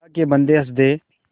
अल्लाह के बन्दे हंस दे